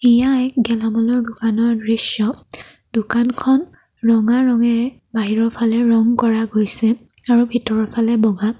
এয়া এক গেলামালৰ দোকানৰ দৃশ্য দোকানখন ৰঙা ৰঙেৰে বাহিৰৰ ফালে ৰং কৰা গৈছে আৰু ভিতৰৰ ফালে বগা।